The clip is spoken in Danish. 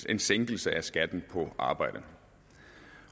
en sænkelse af skatten på arbejde